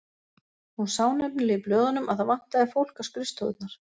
Hún sá nefnilega í blöðunum að það vantaði fólk á skrifstofurnar.